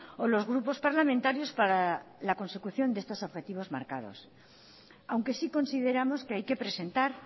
o los grupos parlamentarios para la consecución de estos objetivos marcados aunque sí consideramos que hay que presentar